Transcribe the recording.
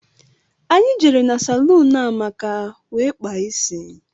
Anyị jere na salún Amaka wee kpaa isi.